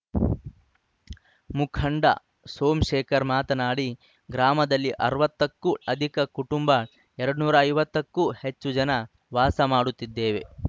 ಮುಖಂಡ ಸೋಮಶೇಖರ್‌ ಮಾತನಾಡಿ ಗ್ರಾಮದಲ್ಲಿ ಅರವತ್ತ ಕ್ಕೂ ಅಧಿಕ ಕುಟುಂಬ ಎರಡು ನ್ನೂರ ಐವತ್ತಕ್ಕೂ ಹೆಚ್ಚು ಜನ ವಾಸ ಮಾಡುತ್ತಿದ್ದೇವೆ